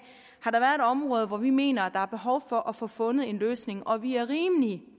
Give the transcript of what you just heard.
har område hvor vi mener der er behov for at få fundet en løsning og vi er rimelig